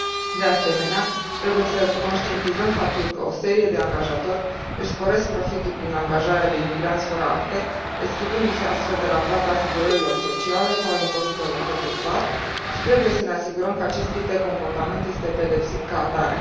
De asemenea, trebuie să conștientizăm faptul că o serie de angajatori își sporesc profitul prin angajarea de imigranți fără acte, eschivându se astfel de la plata asigurărilor sociale sau a impozitelor către stat și trebuie să ne asigurăm că acest tip de comportament este pedepsit ca atare.